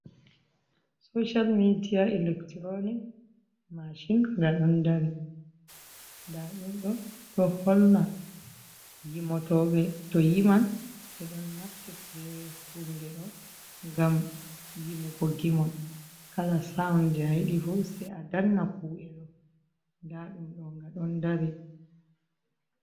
Social media electronic machin, ndaa ɗum ɗo'o, ɗo holla yimotoyɓe to yiman ɓe ɗon naftrai bee huunde ɗo ngam yimugo gimol kala saun jey a yiɗi fuu sey a danna ku’e ɗo nda ɗum ɗo nga ɗon dari.